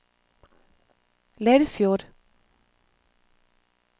Leirfjord